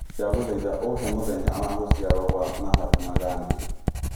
ndagũthaĩtha ũhe mũthenya wa gũcĩarwo gwa Mahatma gandhiji